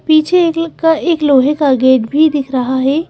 पीछे एक लक का एक लोहे का गेट भी दिख रहा है।